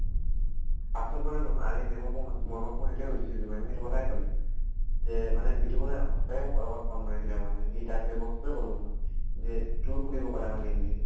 পাছত মানে নহয় আজি ma'am ক মই সুধি ma'am ক মই সেইটোয়ে সুধিছিলো। ma'am য়ে সেইটো কথায়ে কলে। যে মানে বিতোপনে সঁচায়ে মোক অলপ আগত phone মাৰিছিলে মানে । সি তাক সেইটো বস্তুটোয়ে কলো মই। যে তোক সুধিব কলে মানে mainly সি।